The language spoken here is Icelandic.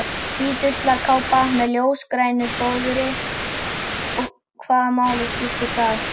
Hvít ullarkápa með ljósgrænu fóðri og hvaða máli skiptir það?